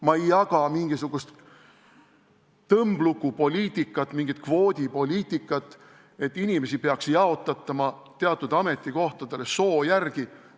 Ma ei jaga mingisugust tõmblukupoliitikat, mingisugust kvoodipoliitikat, mille järgi inimesi peaks teatud ametikohtadele jaotatama soo alusel.